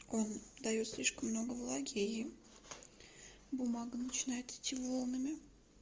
он даёт слишком много влаги и бумага начинает идти волнами